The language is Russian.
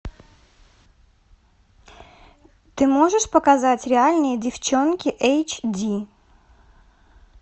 ты можешь показать реальные девчонки эйч ди